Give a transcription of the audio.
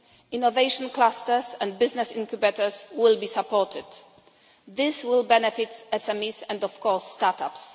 Innovation clusters and business incubators will be supported. This will benefit SMEs and, of course, start-ups.